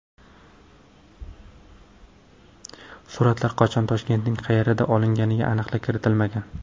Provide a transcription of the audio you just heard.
Suratlar qachon, Toshkentning qayerida olinganiga aniqlik kiritilmagan.